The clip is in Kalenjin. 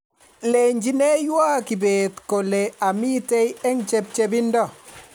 lechineiwo kibet kole amitei eng' chepchepindo